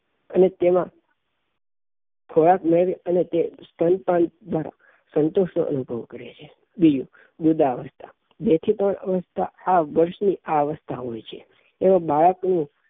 અને તેમાં ખોરાક મળ અને સ્તનપાન દ્વારા તે સંતુષ્ટ નું અનુભવ કરે છે બીજું મૃદાઅવસ્થા જેથી પણ આ અવસ્થા અભ્યાસ ની આ અવસ્થા હોઈ છે એમાં બાળક ની